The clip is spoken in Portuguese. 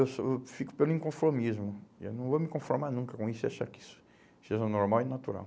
Eu sou, eu fico pelo inconformismo, eu não vou me conformar nunca com isso e achar que isso, seja normal e natural.